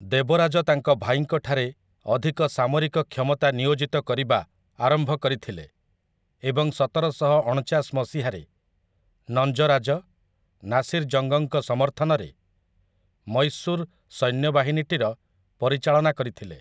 ଦେବରାଜ ତାଙ୍କ ଭାଇଙ୍କଠାରେ ଅଧିକ ସାମରିକ କ୍ଷମତା ନିୟୋଜିତ କରିବା ଆରମ୍ଭ କରିଥିଲେ, ଏବଂ ସତରଶହ ଅଣଚାଶ ମସିହାରେ, ନଞ୍ଜରାଜ, ନାସିର ଜଙ୍ଗ୍‌ଙ୍କ ସମର୍ଥନରେ, ମୈଶୂର ସୈନ୍ୟବାହିନୀଟିର ପରିଚାଳନା କରିଥିଲେ ।